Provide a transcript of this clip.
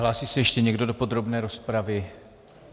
Hlásí se ještě někdo do podrobné rozpravy?